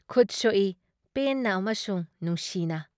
ꯈꯨꯠ ꯁꯣꯛꯏ ꯄꯦꯟꯅ ꯑꯃꯁꯨꯡ ꯅꯨꯡꯁꯤꯅ ꯫